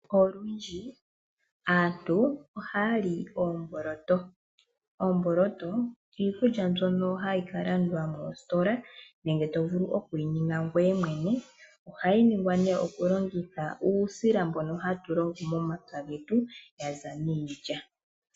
Olundji aantu ohaya li oomboloto. Oomboloto iikulya mbyono hayi ka landwa moositola nenge toyi vulu oku yi ninga ngoye mwene. Ohayi ningwa to longitha uusila mbono hatu longo momapya getu yaza miilya.